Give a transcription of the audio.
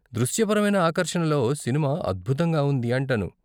దృశ్యపరమైన ఆకర్షణలో సినిమా అద్భుతంగా ఉంది అంటాను.